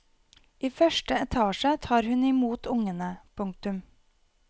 I første etasje tar hun i mot ungene. punktum